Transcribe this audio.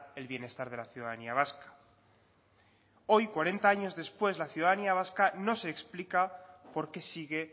el bienestar de la ciudadanía vasca hoy cuarenta años después la ciudadanía vasca no se explica por qué sigue